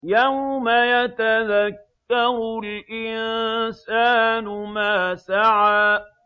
يَوْمَ يَتَذَكَّرُ الْإِنسَانُ مَا سَعَىٰ